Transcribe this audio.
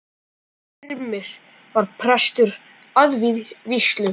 Styrmir var prestur að vígslu.